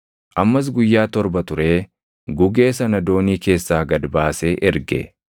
Ammas guyyaa torba turee gugee sana doonii keessaa gad baasee erge.